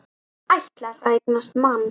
Ætlar að eignast mann.